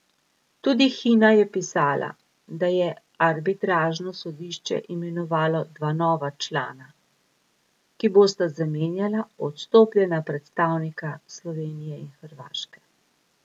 Tudi Hina je pisala, da je arbitražno sodišče imenovalo dva nova člana, ki bosta zamenjala odstopljena predstavnika Slovenije in Hrvaške.